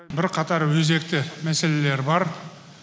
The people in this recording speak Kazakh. бірқатар өзекті мәселелер бар